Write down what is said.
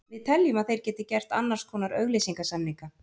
Við teljum að þeir geti gert annars konar auglýsingasamninga.